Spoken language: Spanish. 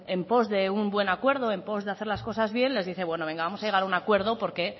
en pos de un buen acuerdo en pos de hacer las cosas bien les dice bueno venga vamos a llegar a un acuerdo porque